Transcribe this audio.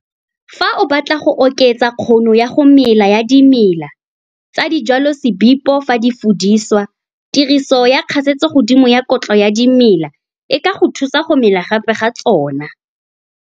Fa o batla go oketsa kgono ya go mela ya dimela tsa dijwalosebipo fa di fudiswa, tiriso ya kgasetsogodimo ya kotlo ya dimela e ka thusa go mela gape ga tsona.